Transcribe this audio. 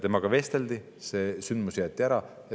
Temaga vesteldi, see sündmus jäeti ära.